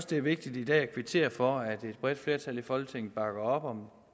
det er vigtigt i dag at kvittere for at et bredt flertal i folketinget bakker op om